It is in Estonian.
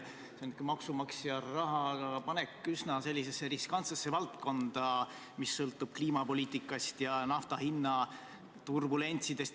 See on maksumaksja raha panek üsna riskantsesse valdkonda, mis sõltub kliimapoliitikast ja nafta hinna turbulentsidest.